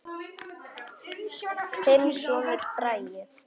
Þinn sonur, Bragi.